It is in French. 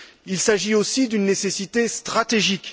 Il s'agit, aussi, d'une nécessité stratégique